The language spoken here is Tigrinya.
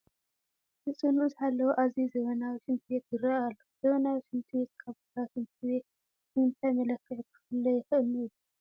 ንፅህንኡ ዝሓለወ ኣዝዩ ዘመናዊ ሽንቲ ቤት ይርአ ኣሎ፡፡ ዘመናዊ ሽንት ቤት ካብ ባህላዊ ሽንት ቤት ብምንታይ መለክዒ ክፍለ ይኽእል ንብል?